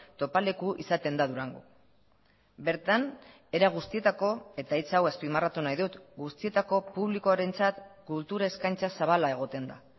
topaleku izaten da durango bertan era guztietako eta hitz hau azpimarratu nahi dut guztietako publikoarentzat kultur eskaintza zabala egoten da